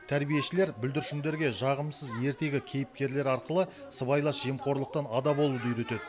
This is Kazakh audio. тәрбиешілер бүлдіршіндерге жағымсыз ертегі кейіпкерлері арқылы сыбайлас жемқорлықтан ада болуды үйретеді